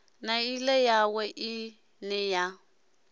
na nḓila yawe ine a